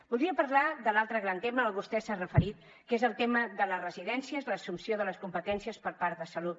voldria parlar de l’altre gran tema vostè s’hi ha referit que és el tema de les residències l’assumpció de les competències per part de salut